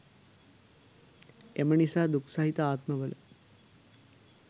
එම නිසා දුක් සහිත ආත්මවල